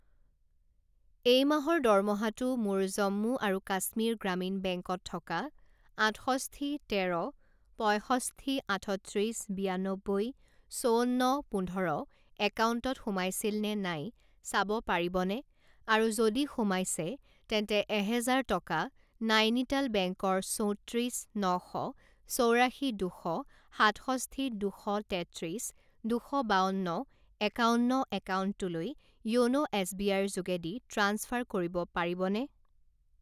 এই মাহৰ দৰমহাটো মোৰ জম্মু আৰু কাশ্মীৰ গ্ৰামীণ বেংকত থকা আঠষষ্ঠি তেৰ পঁইষষ্ঠি আঠত্ৰিছ বিয়ানব্বৈ চৌৱন্ন পোন্ধৰ একাউণ্টত সোমাইছিল নে নাই চাব পাৰিবনে, আৰু যদি সোমাইছে তেন্তে এহেজাৰ টকা নাইনিটাল বেংকৰ চৌত্ৰিছ ন শ চৌৰাশী দুশ সাতষষ্ঠি দুশ তেত্ৰিছ দুশ বাৱন্ন একাৱন্ন একাউণ্টটোলৈ য়োনো এছবিআইৰ যোগেদি ট্ৰাঞ্চফাৰ কৰিব পাৰিবনে?